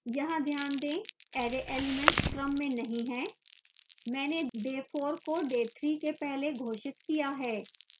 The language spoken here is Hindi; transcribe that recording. यहाँ ध्यान दें array elements क्रम में नहीं हैं